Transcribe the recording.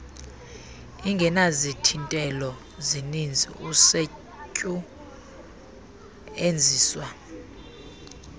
ingenazithintelo zininzi usetyuenziswa